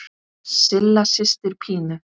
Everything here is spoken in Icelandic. Silla systir Pínu.